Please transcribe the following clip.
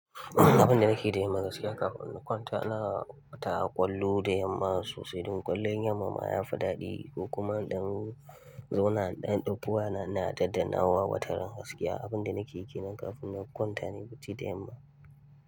Abin da nake yi da yamma gaskiya kafin in kwanta, ina kwnta ƙwallo da yamma sosai. Don ƙwallon yamma ma ya fi daɗi ko kuma ɗan zauna in dan dauki wayana ina na ta daddanawa wataran gaskiya. Abin da nake yi kenan kafin na kwanta nayi bacci da yamma.